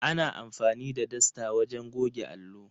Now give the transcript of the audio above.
Ana amfani da dasta wajen goge allo.